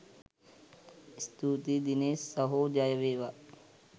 ස්තුතියි දිනේෂ් සහෝ ජය වේවා!